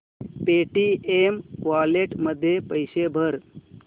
Paytm wallet मध्ये पैसे भर